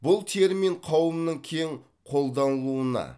бұл термин қауымның кең қолданылуына